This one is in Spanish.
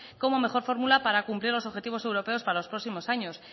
como mejor fórmula para cumplir los objetivos europeos para los próximos años